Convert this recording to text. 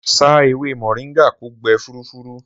Sà èwé mọ̀ringà kò gbè fùrúfùrú